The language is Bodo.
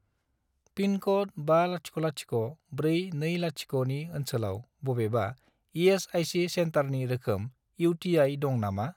पिनक'ड 500420 नि ओनसोलाव बबेबा इ.एस.आइ.सि. सेन्टारनि रोखोम इउ.टि.आइ. दं नामा?